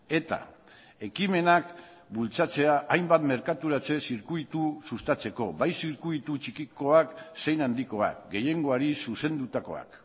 eta ekimenak bultzatzea hainbat merkaturatze zirkuitu sustatzeko bai zirkuitu txikikoak zein handikoak gehiengoari zuzendutakoak